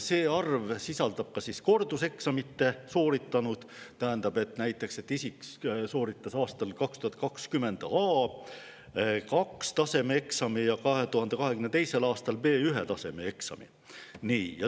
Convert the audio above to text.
See arv sisaldab ka korduseksami sooritanuid, tähendab, näiteks, kui isik sooritas 2020. aastal A2-taseme eksami ja 2022. aastal B1-taseme eksami.